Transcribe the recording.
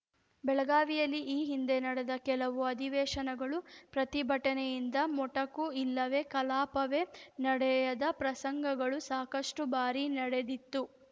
ಬೆಳಗಾವಿಯಲ್ಲಿ ಈ ಹಿಂದೆ ನಡೆದ ಕೆಲವು ಅಧಿವೇಶನಗಳು ಪ್ರತಿಭಟನೆಯಿಂದ ಮೊಟಕು ಇಲ್ಲವೇ ಕಲಾಪವೇ ನಡೆಯದ ಪ್ರಸಂಗಗಳು ಸಾಕಷ್ಟುಬಾರಿ ನಡೆದಿತ್ತು